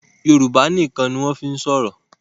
Yorùbá nìkàn ni wọ́n fí ń sọ̀rọ̀